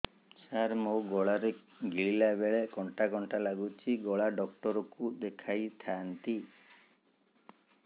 ସାର ମୋ ଗଳା ରେ ଗିଳିଲା ବେଲେ କଣ୍ଟା କଣ୍ଟା ଲାଗୁଛି ଗଳା ଡକ୍ଟର କୁ ଦେଖାଇ ଥାନ୍ତି